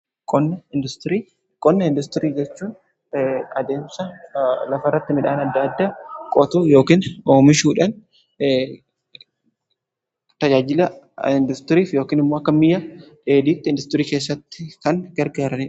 qonna indaastirii jechuun adeemsa lafa irratti midhaan adda addaa qootuu yookiin oomishuudhan tajaajila indaastirii yookiin immoo akka meeshaa dheedhiitti indaastirii keessatti kan gargaarudha.